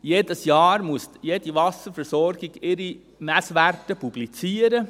Jedes Jahr muss jede Wasserversorgung ihre Messwerte publizieren.